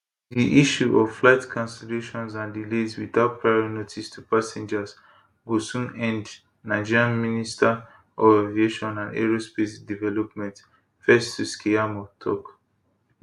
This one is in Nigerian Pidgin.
di issue of flight cancellations and delays without prior notice to passengers go soon end nigeria minister of aviation and aerospace development festus keyamo tok